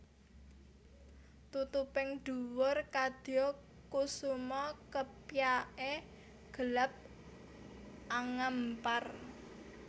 Tutuping dhuwur kadya kusuma kepyake gelap angampar